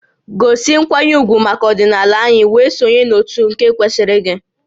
Gosi nkwanye ugwu maka ọdịnala anyị wee sonye n'òtù nke kwesịrị gị!